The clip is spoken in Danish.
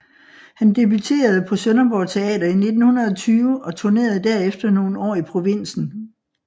Han debuterede på Sønderborg Teater i 1920 og turnerede derefter nogle år i provinsen